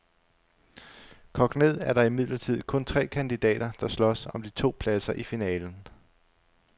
Kogt ned er der imidlertid kun tre kandidater, der slås om de to pladser i finalen.